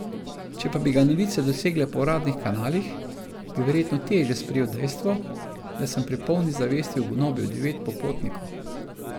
Če pa bi ga novice dosegle po uradnih kanalih, bi verjetno teže sprejel dejstvo, da sem pri polni zavesti ugonobil devet popotnikov.